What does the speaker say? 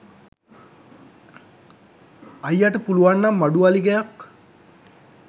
අයියට පුලුවන් නම් මඩු වලිගයක්